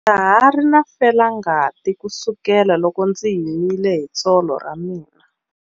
Ndza ha ri na felangati kusukela loko ndzi himile hi tsolo ra mina.